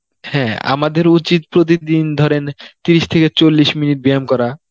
হ্যাঁ আমাদের উচিত প্রতিদিন ধরেন তিরিশ থেকে চল্লিশ মিনিট ব্যায়াম করা